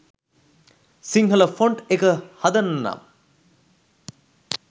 Sinhala font එක හදන්න නම්